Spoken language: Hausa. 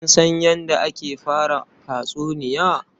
Kin san yadda ake fara tatsuniya?